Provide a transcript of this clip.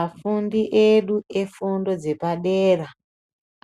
Afundi edu efundo dzepadera